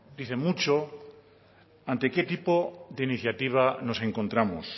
dice mucho ante qué tipo de iniciativa nos encontramos